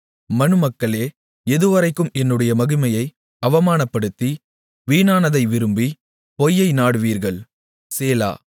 மனுமக்களே எதுவரைக்கும் என்னுடைய மகிமையை அவமானப்படுத்தி வீணானதை விரும்பி பொய்யை நாடுவீர்கள் சேலா